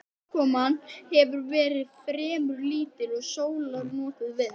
Úrkoman hefur verið fremur lítil og sólar notið vel.